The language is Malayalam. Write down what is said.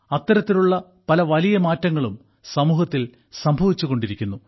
അത്തരത്തിലുള്ള പല വലിയ മാറ്റങ്ങളും സമൂഹത്തിൽ സംഭവിച്ചുകൊണ്ടിരിക്കുന്നു